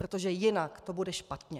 Protože jinak to bude špatně.